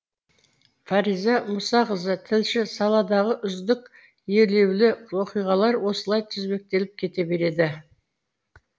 фариза мұсақызы тілші саладағы үздік елеулі оқиғалар осылай тізбектеліп кете береді